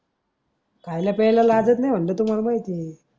खायला प्यायला लाजत नाही तुम्हाला माहिती आहे.